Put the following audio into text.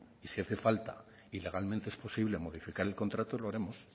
y si hace falta y legalmente es posible modificar el contrato lo haremos